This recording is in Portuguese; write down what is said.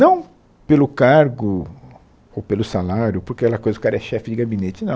Não pelo cargo ou pelo salário, por aquela coisa o cara é chefe de gabinete, não.